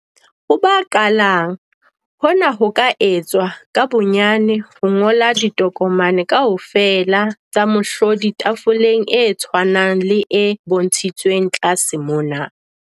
Ho ba qalang, hona ho ka etswa ka bonyane ho ngola ditokomane kaofela tsa mohlodi tafoleng e tshwanang le e bontshitsweng tlase mona.